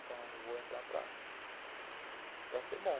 Então, eu vou entrar para para ser bom.